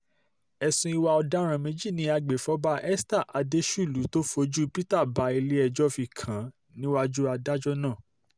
ẹ̀sùn ìwà ọ̀daràn méjì ni agbèfọ́ba esther adéṣùlù tó fojú peter bá ilé-ẹjọ́ fi kàn án níwájú adájọ́ náà